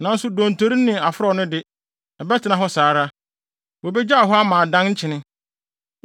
Nanso dontori ne aforɔw no de, ɛbɛtena hɔ saa ara. Wobegyaw hɔ ama adan nkyene.